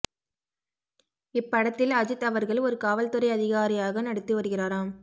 இப்படத்தின் அஜித் அவர்கள் ஒரு காவல் துறை அதிகாரியாக நடித்து வருகிறாராம்